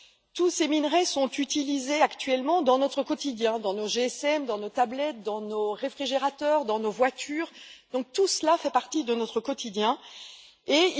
Tous ces minerais sont utilisés actuellement dans notre quotidien dans nos GSM, dans nos tablettes, dans nos réfrigérateurs, dans nos voitures, etc.